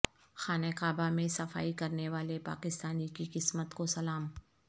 خانہ کعبہ میں صفائی کرنے والے پاکستانی کی قسمت کو سلام